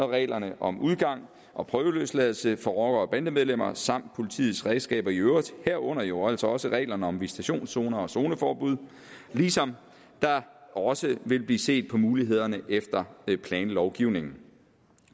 reglerne om udgang og prøveløsladelse for rockere og bandemedlemmer samt på politiets redskaber i øvrigt herunder jo altså også reglerne om visitationszoner og zoneforbud ligesom der også vil blive set på mulighederne efter planlovgivningen